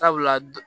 Sabula